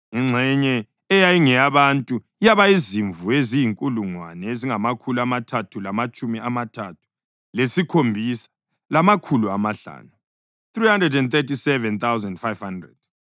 ingxenye eyayingeyabantu yaba yizimvu eziyizinkulungwane ezingamakhulu amathathu lamatshumi amathathu lesikhombisa, lamakhulu amahlanu (337,500),